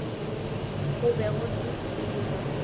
go be go se selo